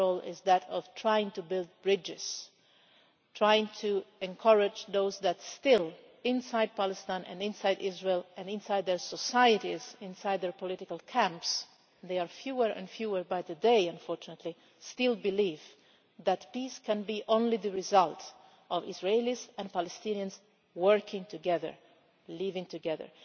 Our role is that of trying to build bridges, trying to encourage those who still, inside Palestine and inside Israel and inside their societies, inside their political camps and there are fewer and fewer by the day unfortunately believe that peace can only result from Israelis and Palestinians working together and living together.